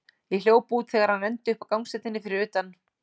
Ég hljóp út þegar hann renndi upp að gangstéttinni fyrir utan.